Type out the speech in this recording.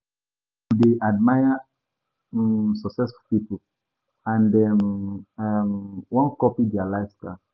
[hiss] Many pipo dey admire successful pipo, and dem wan copy dia lifestyle.